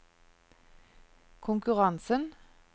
konkurransen